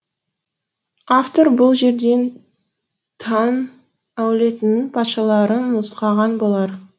автор бұл жерден таң әулетінің патшаларын нұсқаған болар